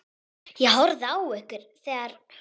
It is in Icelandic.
Ég horfði á ykkur þegar.